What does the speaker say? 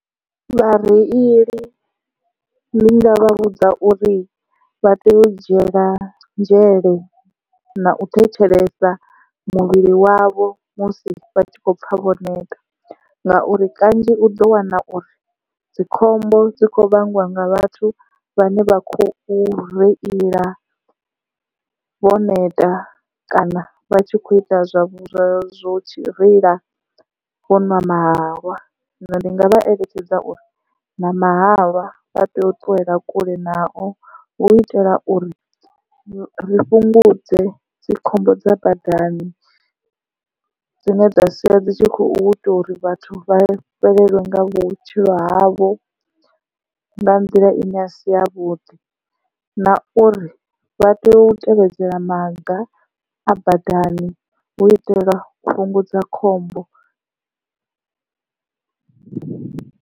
Vhareili ndinga vha vhudza uri vha tea u dzhiela nzhele na u thetshelesa muvhili wavho musi vha tshi khou pfha vho neta ngauri kanzhi u ḓo wana uri dzikhombo dzi khou vhangwa nga vhathu vhane vha khou reila vho neta kana vha tshi kho ita zwa vha zwo reila vho nwa mahalwa, zwino ndi nga vha eletshedza uri na mahalwa vha tea u ṱuwela kule nao hu itela uri ri fhungudze dzi khombo dza badani dzine dza sia dzi tshi khou ita uri vhathu vha fhelelwe nga vhutshilo havho nga nḓila ine a si yavhuḓi na uri vha tea u tevhedzela maga a badani hu itela u fhungudza khombo.